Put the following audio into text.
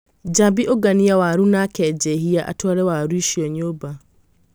Njambi ũngania waru nake Njehia atware waru icio nyũmba.